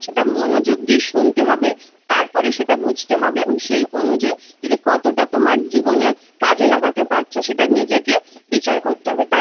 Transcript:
সেটা মনোযোগ দিয়ে শুনতে হবে তারপরে সেটা বুঝতে হবে এবং সেই অনুযায়ী তুমি কতটা তোমার জীবনে কাজে লাগাতে পারছো সেটা নিজেকে বিচার করতে হবে